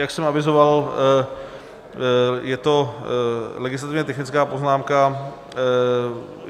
Jak jsem avizoval, je to legislativně technická poznámka.